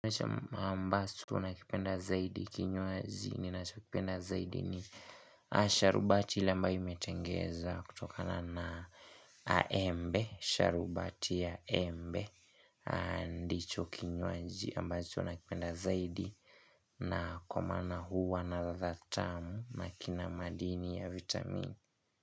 Baas tunakipenda zaidi, kinywaji ninachokipenda zaidi ni sharubati ile ambayo imetengeza kutokana na embe, sharubati ya embe ndicho kinywaji ambacho nakipenda zaidi na kwa maana huwa na ladha tamu na kina madini ya vitamin.